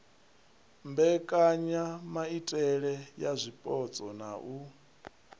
mbekanyamaitele ya zwipotso na u